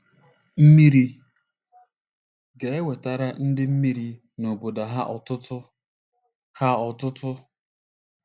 Mmeri ga-ewetara ndị mmeri na obodo ha otuto. ha otuto.